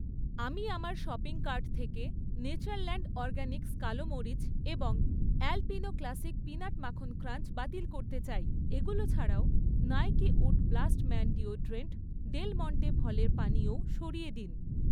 আমি আমার shopping cart থেকে নেচারল্যান্ড অরগ্যানিক্স কালো মরিচ এবং অ্যালপিনো ক্লাসিক পিনাট মাখন ক্রাঞ্চ বাতিল করতে চাই। এগুলো ছাড়াও, Nike wood blast man deodorant, Del Monte ফলের পানীয়ও সরিয়ে দিন।